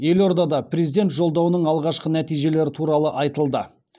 елордада президент жолдауының алғашқы нәтижелері туралы айтылды